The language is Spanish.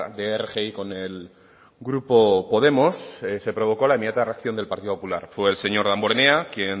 de rgi con el grupo podemos se provocó la inmediata reacción del partido popular fue el señor damborenea quien